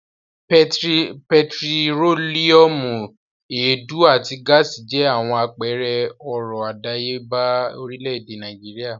Pẹtírólíúmù, èédú àti gáásì jẹ́ àwọn àpẹẹrẹ ọrọ̀ àdáyébà orílẹ̀-èdè Nàìjíríà.